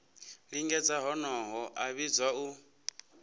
lingedza honoho a vhidzwa u